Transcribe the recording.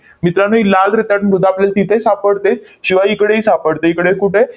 मित्रांनो, ही लाल रेताड मृदा आपल्याला तिथे सापडते, शिवाय इकडेही सापडते. इकडे कुठे?